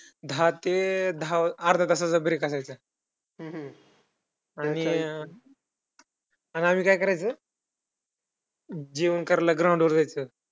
दहा ते दहा अर्ध्या तासाचा break असायचा आणि आणि आम्ही काय करायचो, जेवण करायला ground वर जायचो.